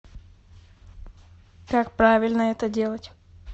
как правильно это делать